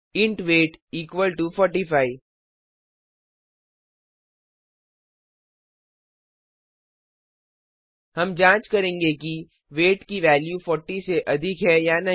int weight equal to 45 हम जांच करेंगे कि वेट की वैल्यू 40 से अधिक है या नहीं